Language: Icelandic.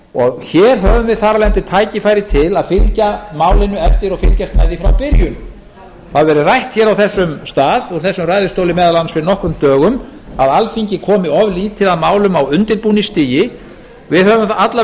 og hér höfum við þar af leiðandi tækifæri til að fylgja málinu eftir og fylgjast með því frá byrjun það hefur verið rætt hér á þessum stað og úr þessum ræðustóli meðal annars fyrir nokkrum dögum að alþingi komi of lítið að málum á undirbúningsstigi við höfum alla